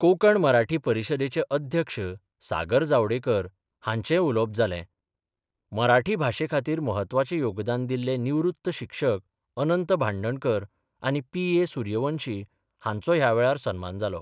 कोंकण मराठी परिशदेचे अध्यक्ष सागर जावडेकर हांचेय उलोवप जालें मराठी भाशेखातीर महत्वाचे योगदान दिल्ले निवृत्त शिक्षक अनंत भांडणकर आनी पी ए सूर्यवंशी हांचो ह्या वेळार सन्मान जालो.